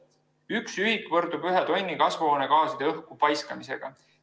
Üks ühik võrdub ühe tonni kasvuhoonegaaside õhku paiskamisega.